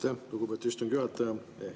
Aitäh, lugupeetud istungi juhataja!